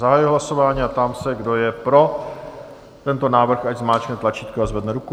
Zahajuji hlasování a ptám se, kdo je pro tento návrh, ať zmáčkne tlačítko a zvedne ruku.